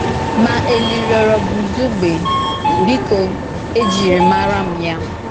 Ma Èlì rịọrọ̀ Bùzugbè: “Bìkò, èjìrì màrà m ya.”